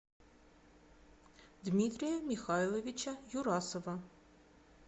дмитрия михайловича юрасова